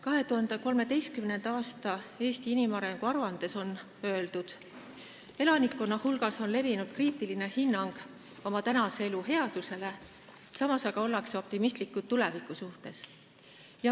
2013. aasta Eesti inimarengu aruandes on öeldud, et elanike hulgas on levinud kriitiline hinnang oma tänase elu "headusele", samas aga ollakse optimistlikud tuleviku suhtes.